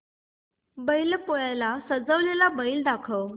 बैल पोळ्याला सजवलेला बैल दाखव